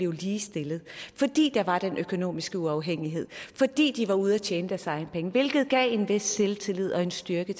var ligestillet fordi der var den økonomiske uafhængighed og fordi de var ude at tjene deres egne penge hvilket gav kvinderne en vis selvtillid og styrke